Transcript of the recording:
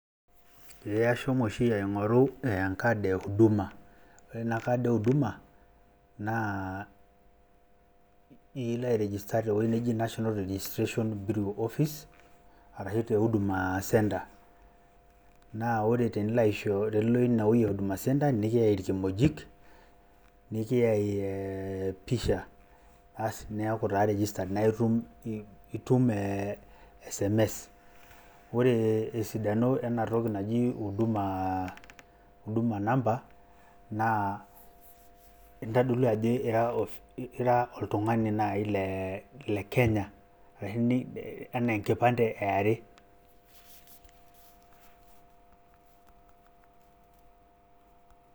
Eee ashomo oshi aing`oru nkad e huduma , ore ena kad e huduma naa ilo ai register te wueji naji national registration bureau office. Arashu te huduma center. Naa ore tenilo ine wueji e huduma centre nikiyai ilkimojik nikiyai pisha basi paa iyaku taa registered naa itum itum SMS. Ore esidano ena toki naji huduma , huduma namba naa intodolu jo ira naaji ira oltung`ani le Kenya. Arashu enaa enkipande e are.